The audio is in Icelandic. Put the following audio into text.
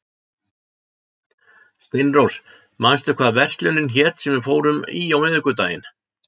Steinrós, manstu hvað verslunin hét sem við fórum í á miðvikudaginn?